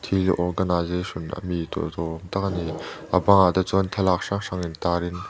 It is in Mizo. khi organization a mi tel tur awm tak a ni a a bang ah te chuan thlalak hrang hrang in tar in.